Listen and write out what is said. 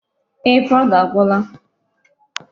Ee, powder agwụla.